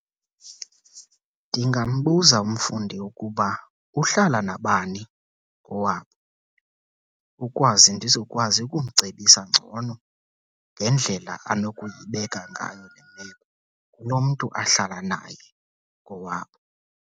Ndingambuza umfundi ukuba uhlala nabani kowabo, ukwazi ndizokwazi ukumcebisa ngcono ngendlela anokuyibeka ngayo le meko kulo mntu ahlala naye kowabo.